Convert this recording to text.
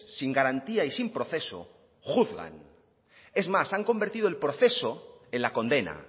sin garantía y sin proceso juzgan es más han convertido el proceso en la condena